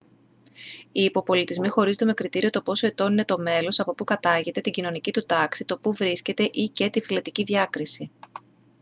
οι υποπολιτισμοί χωρίζονται με κριτήριο το πόσο ετών είναι το μέλος από που κατάγεται την κοινωνική του τάξη το που βρίσκεται ή/και την φυλετική διάκριση